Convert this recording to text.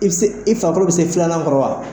I bɛ se i farikolo bɛ se filanan kɔrɔ wa?